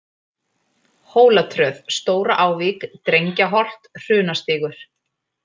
Hólatröð, Stóra-Ávík, Drengjaholt, Hrunastígur